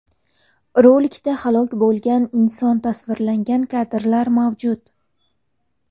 Rolikda halok bo‘lgan inson tasvirlangan kadrlar mavjud.